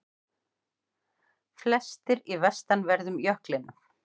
Flestir í vestanverðum jöklinum